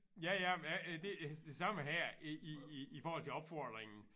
Ja ja men jeg det det samme her i i i i forhold til opfordringen